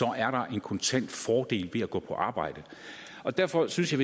er der en kontant fordel ved at gå på arbejde derfor synes jeg